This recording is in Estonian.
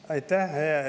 Aitäh!